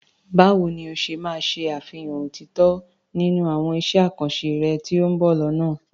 Báwo ni o ṣe máa ṣe àfihàn òtítọ́ nínú àwọn iṣẹ́ àkànṣe rẹ tí ó ń bọ̀ lọ́nà?